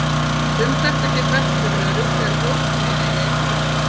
Um þetta getum við ekki verið örugg þegar ókunnugir eiga í hlut.